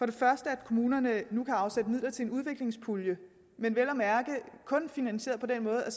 det første at kommunerne nu kan afsætte midler til en udviklingspulje men vel at mærke kun finansieret på den måde at